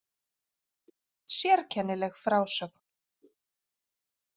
Sérkennileg frásögn